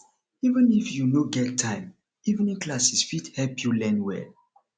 even if you no get time evening classes fit help you learn well